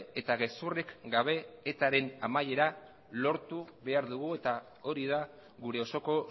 eta gezurrik gabe etaren amaiera lortu behar dugu eta hori da gure osoko